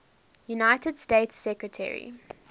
united states secretary